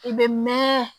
I bɛ mɛn